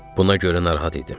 Buna görə narahat idim.